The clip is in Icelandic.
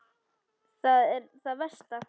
Það er það versta.